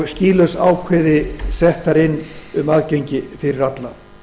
og skýlaus ákvæði sett þar inn um aðgengi fyrir alla